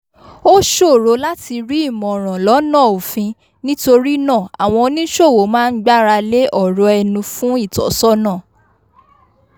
ó ṣòro láti rí ìmọ̀ràn lọ́nà òfin nítorí náà àwọn oníṣòwò máa ń gbáralé ọ̀rọ̀ ẹnu fún ìtọ́sọ́nà